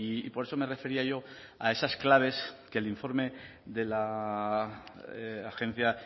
y por eso me refería yo a esas claves que el informe de la agencia